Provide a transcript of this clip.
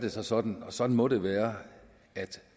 det så sådan og sådan må det være at